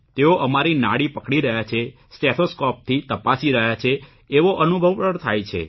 તેઓ અમારી નાડી પકડી રહ્યા છે સ્ટેથોસ્કોપથી તપાસી રહ્યા છે એવો અનુભવ પણ થાય છે